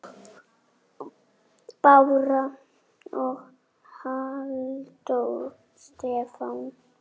Bára og Halldór Stefán.